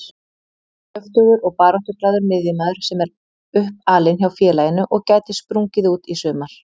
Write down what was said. Kröftugur og baráttuglaður miðjumaður sem er uppalinn hjá félaginu og gæti sprungið út í sumar.